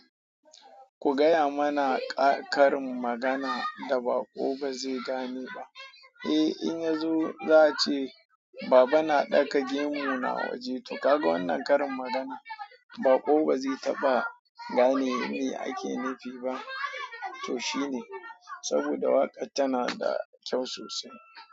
Ku gaya mana ƙarin magana da baƙo ba zai gane ba. Eh, in yazo za a ce Baba na ɗaka gemu na waje, to kaga wannan karin magana baƙo ba zai taɓa gane me ake nufi ba. To shine saboda waƙar tana da kyau sosai.